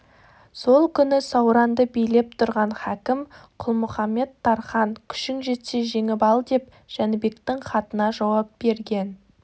сол күні сауранды билеп тұрған хакім құлмұқамет-тархан күшің жетсе жеңіп алдеп жәнібектің хатына жауап берген